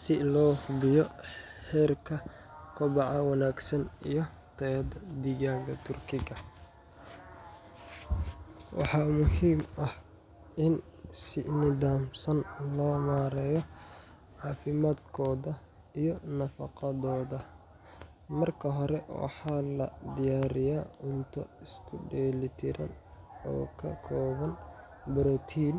Si loo hubiyo heerka kobaca wanaagsan iyo tayada digaagga Turkiga, waxaa muhiim ah in si nidaamsan loo maareeyo caafimaadkooda iyo nafaqadooda. Marka hore, waxaa la diyaariyaa cunto isku dheeli tiran oo ka kooban borotiin,